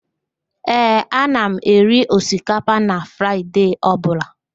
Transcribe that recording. Ee, ana m eri osikapa na Fraịde ọbụla